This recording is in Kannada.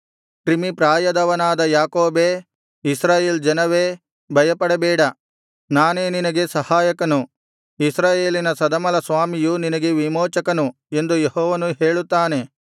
ಕ್ರಿಮಿಪ್ರಾಯದವನಾದ ಯಾಕೋಬೇ ಇಸ್ರಾಯೇಲ್ ಜನವೇ ಭಯಪಡಬೇಡ ನಾನೇ ನಿನಗೆ ಸಹಾಯಕನು ಇಸ್ರಾಯೇಲಿನ ಸದಮಲಸ್ವಾಮಿಯು ನಿನಗೆ ವಿಮೋಚಕನು ಎಂದು ಯೆಹೋವನು ಹೇಳುತ್ತಾನೆ